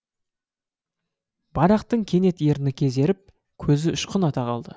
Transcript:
барақтың кенет ерні кезеріп көзі ұшқын ата қалды